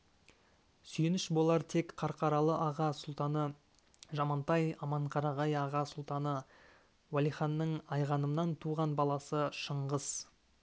сүйеніш болар тек қарқаралы аға сұлтаны жамантай аманқарағай аға сұлтаны уәлиханның айғанымнан туған баласы шыңғыс